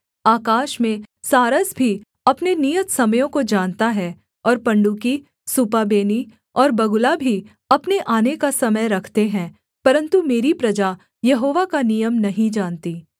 आकाश में सारस भी अपने नियत समयों को जानता है और पंडुकी सूपाबेनी और बगुला भी अपने आने का समय रखते हैं परन्तु मेरी प्रजा यहोवा का नियम नहीं जानती